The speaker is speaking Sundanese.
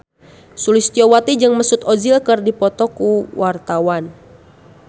Sulistyowati jeung Mesut Ozil keur dipoto ku wartawan